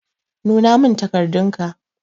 Nuna min takardun ka.